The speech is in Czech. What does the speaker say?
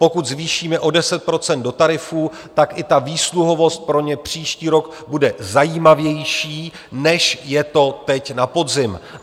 Pokud zvýšíme o 10 % do tarifů, tak i ta výsluhovost pro ně příští rok bude zajímavější, než je to teď na podzim.